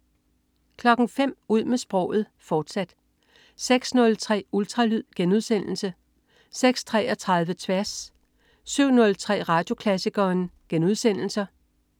05.00 Ud med sproget, fortsat 06.03 Ultralyd* 06.33 Tværs* 07.03 Radioklassikeren*